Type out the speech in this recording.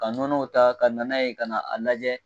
Ka nɔnɔw ta ka na n'a ye ka na a lajɛ